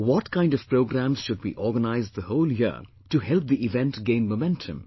What kind of programmes should we organise the whole year to help the event gain momentum